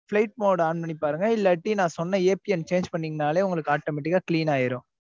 flight mode on பண்ணி பாருங்க இல்லாட்டி நா சொன்ன APNchange பண்ணிங்கனாலே உங்களுக்கு automatic ஆ clean ஆயிரும்